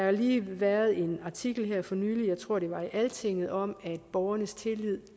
jo lige været en artikel her for nylig jeg tror at det var i altinget om at borgernes tillid